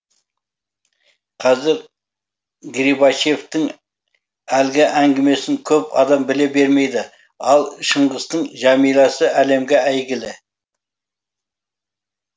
қазір грибачевтің әлгі әңгімесін көп адам біле бермейді ал шыңғыстың жәмиласы әлемге әйгілі